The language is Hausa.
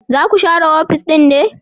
Za ku share ofis din ne?